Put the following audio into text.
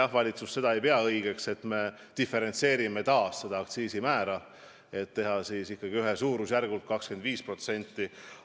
Valitsus ei pea õigeks, et me diferentseerime taas seda aktsiisimäära, võiks teha ikka ühtmoodi suurusjärgus 25%.